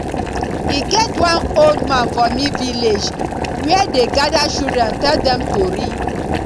e get one old man for me village wey dey gada children tell dem tori